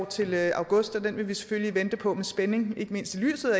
til august og den vil vi selvfølgelig vente på med spænding ikke mindst i lyset